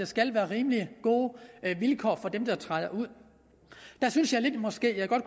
skal være rimelig gode vilkår for dem der træder ud der synes jeg måske at jeg godt